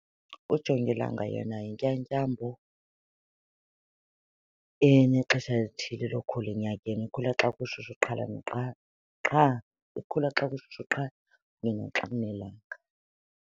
Ujongilanga yena yintyatyambo enexesha lithile lokukhula enyakeni. Ikhula xa kushushu qha, ikhula xa kushushu qha kunye naxa kunelanga.